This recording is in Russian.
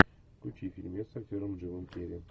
включи фильмец с актером джимом керри